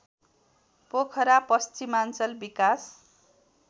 पोखरा पश्चिमाञ्चल विकास